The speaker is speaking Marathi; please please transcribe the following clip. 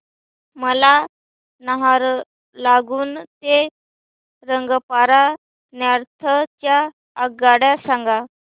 मला नाहरलागुन ते रंगपारा नॉर्थ च्या आगगाड्या सांगा